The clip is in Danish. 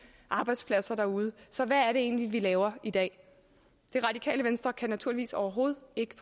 arbejdspladser derude så hvad egentlig vi laver i dag radikale venstre kan naturligvis overhovedet ikke